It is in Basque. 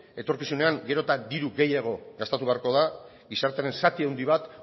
etorkizunean gero eta diru gehiago gastatu beharko da gizartearen zati handi bat